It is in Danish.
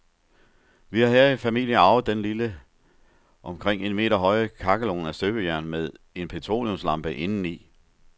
Vi har i familien arvet denne lille, omkring en meter høje kakkelovn af støbejern med en petroleumslampe indeni.